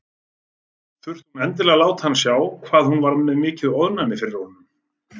Þurfti hún endilega að láta hann sjá hvað hún var með mikið ofnæmi fyrir honum!